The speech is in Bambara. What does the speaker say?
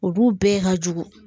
Olu bɛɛ ka jugu